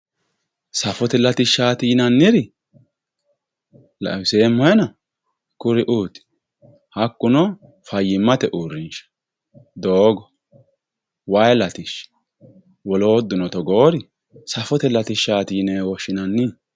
safote latishshaati yinayiiri xawiseemmohena kuri"uuti hakkuno fayyimmate uurrinshsha doogo wayii latishshi wolootuno togoori safote latishshaati yinewe woshshinanni.